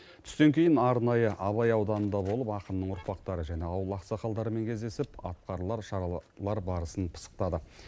түстен кейін арнайы абай ауданында болып ақынның ұрпақтары және ауыл ақсақалдарымен кездесіп атқарылар шаралар барысын пысықтады